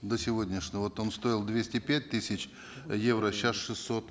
до сегодняшнего вот он стоил двести пять тысяч э евро сейчас шестьсот